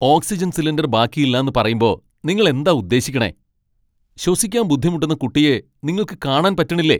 Oxygen cylinder ബാക്കിയില്ലാന്ന് പറയുമ്പോ നിങ്ങൾ എന്താ ഉദ്ദേശിക്കണേ ? ശ്വസിക്കാൻ ബുദ്ധിമുട്ടുന്ന കുട്ടിയെ നിങ്ങൾക്ക് കാണാൻ പറ്റണില്ലേ ?